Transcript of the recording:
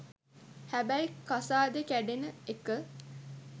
හැබැයි කසාදෙ කැඩෙන එක